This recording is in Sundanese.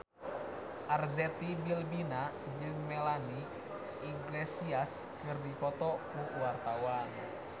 Arzetti Bilbina jeung Melanie Iglesias keur dipoto ku wartawan